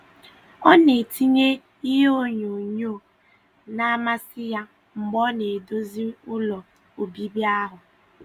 Ọ na-etinye ihe onyonyo na - amasị ya mgbe ọ na - edozi ụlọ obibi ahụ.